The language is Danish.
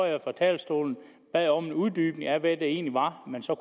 at jeg fra talerstolen bad om en uddybning af hvad det egentlig var man så